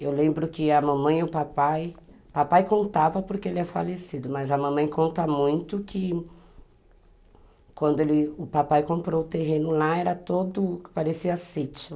Eu lembro que a mamãe e o papai... O papai contava porque ele é falecido, mas a mamãe conta muito que quando, ele, o papai comprou o terreno lá, era todo o que parecia sítio.